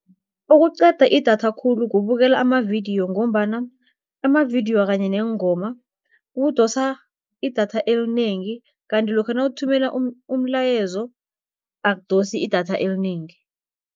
Okuceda idatha khulu kubukela amavidiyo, ngombana amavidiyo kanye neengoma kudosa idatha elinengi, kanti lokha nawuthumela umlayezo akudosi idatha elinengi.